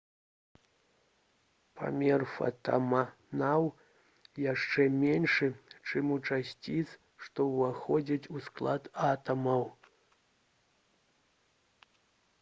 памер фатонаў яшчэ меншы чым у часціц што ўваходзяць у склад атамаў